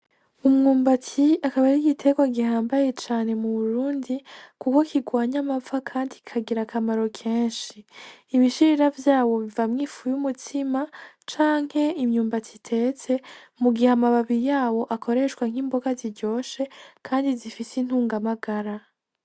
Umwumbati akab'ar'igiterwa gihambaye cane mu Burundi kuko kirwanya amapfa kandi kikagir'akamaro kenshi. Ibishirira vyawo bivamwo ifu y'umutsima canke imyumbati itetse mu gihe amababi yawo akoreshwa nk'imboga ziryoshe kandi zifise intungamagara.